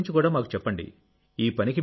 మీ పని గురించి మాకు చెప్పండి